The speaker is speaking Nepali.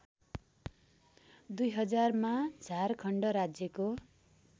२०००मा झारखण्ड राज्यको